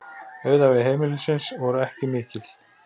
Auðæfi heimilisins voru ekki mikil.